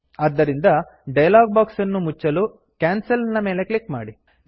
ಆದ್ದರಿಂದ dialog box ಅನ್ನು ಮುಚ್ಚಲು ಕ್ಯಾನ್ಸಲ್ ಕೆನ್ಸಲ್ ನ ಮೇಲೆ ಕ್ಲಿಕ್ ಮಾಡಿ